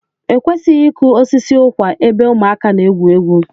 Ekwesịghị ịkụ osisi ụkwa ebe ụmụaka na-egwu egwu.